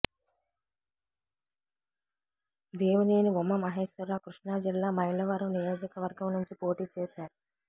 దేవినేని ఉమా మహేశ్వరరావు కృష్ణా జిల్లా మైలవరం నియోజకవర్గం నుంచి పోటీ చేశారు